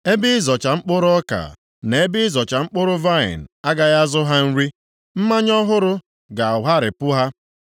Ebe ịzọcha mkpụrụ ọka na ebe ịzọcha mkpụrụ vaịnị agaghị azụ ha nri, mmanya ọhụrụ ga-agharịpụ ha.